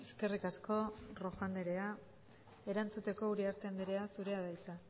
eskerrik asko rojo anderea erantzuteko uriarte anderea zurea da hitza